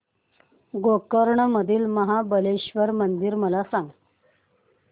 गोकर्ण मधील महाबलेश्वर मंदिर मला सांग